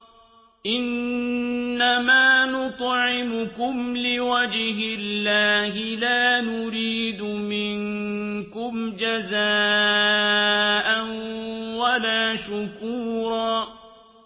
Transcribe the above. إِنَّمَا نُطْعِمُكُمْ لِوَجْهِ اللَّهِ لَا نُرِيدُ مِنكُمْ جَزَاءً وَلَا شُكُورًا